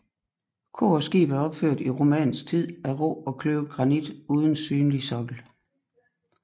Kor og skib er opført i romansk tid af rå og kløvet granit uden synlig sokkel